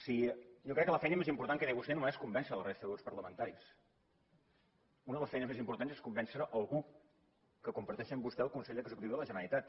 jo crec que la feina més important que té vostè no és convèncer la resta de grups parlamentaris una de les feines més importants és convèncer algú que comparteix amb vostè el consell executiu de la generalitat